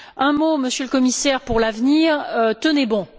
Un mot, Monsieur le Commissaire, pour l'avenir. Tenez bon!